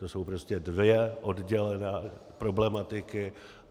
To jsou prostě dvě oddělané problematiky.